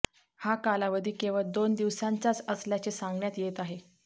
हा कालावधी केवळ दोन दिवसांचाच असल्याचे सांगण्यात येत आहे